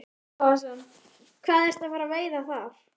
Breki Logason: Hvað ertu að fara að veiða þar?